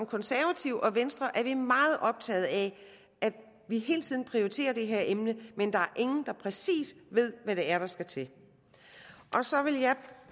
konservative og venstre er vi meget optaget af hele tiden at prioritere det her emne men der er ingen der præcis ved hvad det er der skal til så vil jeg